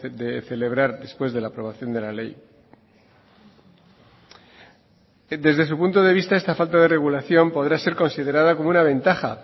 de celebrar después de la aprobación de la ley desde su punto de vista esta falta de regulación podrá ser considerada como una ventaja